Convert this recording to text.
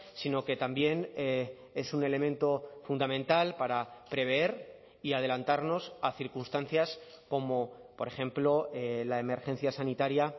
sino que también es un elemento fundamental para prever y adelantarnos a circunstancias como por ejemplo la emergencia sanitaria